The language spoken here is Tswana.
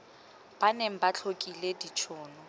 ba neng ba tlhokile ditshono